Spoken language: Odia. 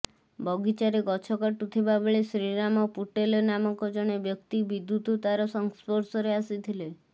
ବଗିଚାରେ ଗଛ କାଟୁଥିବା ବେଳେ ଶ୍ରୀରାମ ପୁଟେଲ ନାମକ ଜଣେ ବ୍ୟକ୍ତି ବିଦ୍ୟୁତ ତାର ସଂସ୍ପର୍ଶରେ ଆସିଥିଲେ